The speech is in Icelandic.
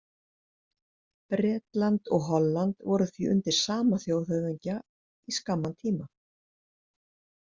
Bretland og Holland voru því undir sama þjóðhöfðingja í skamman tíma.